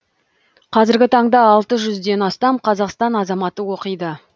қазіргі таңда алты жүзден астам қазақстан азаматы оқиды